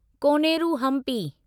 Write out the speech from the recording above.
Koneru Hampi